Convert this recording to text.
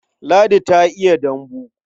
Ladi ta iya dambu.